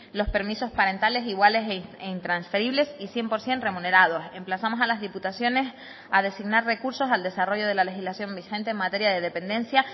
los permisos parentales iguales e intransferibles y cien por ciento remunerados emplazamos a las diputaciones a designar recursos al desarrollo de la legislación vigente en materia de dependencia